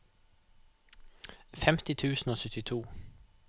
femti tusen og syttito